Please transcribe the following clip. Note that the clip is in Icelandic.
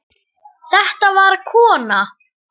Þetta var kona.